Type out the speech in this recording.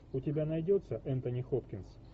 у тебя найдется энтони хопкинс